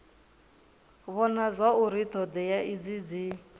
vhona zwauri thodea idzi dzi